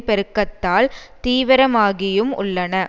பெருக்கத்தால் தீவிரமாகியும் உள்ளன